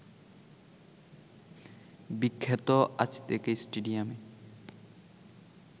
বিখ্যাত আজতেকা স্টেডিয়ামে